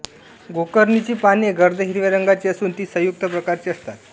गोकर्णीची पाने गर्द हिरव्या रंगाची असून ती संयुक्त प्रकारची असतात